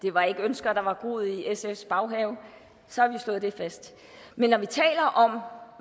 det var ikke ønsker der var groet i sfs baghave så har vi slået det fast men når vi taler om